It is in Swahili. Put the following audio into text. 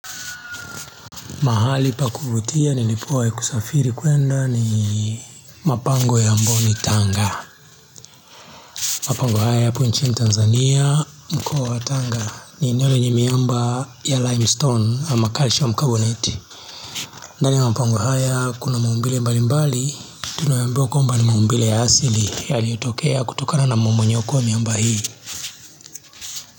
Mahali pa kuvutia nilipuwai kusafiri kuenda ni mapango ya mboni tanga mapango haya yapo nchi ni tanzania mkoa wa tanga ni nione ni miamba ya limestone ama calcium carbonate ndani mapango haya kuna maumbile mbali mbali tunaambiwaa kwamba ni maumbile ya asili yaliotokea kutokana na mamonyoko ya miamba hii.